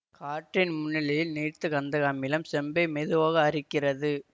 காற்றின் முன்னிலையில் நீர்த்த கந்தக அமிலம் செம்பை மெதுவாக அரிக்கிறது